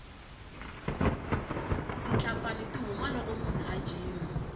titlapfani ti huma loko munhu a jima